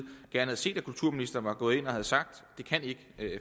gerne havde set at kulturministeren var gået ind og havde sagt det kan ikke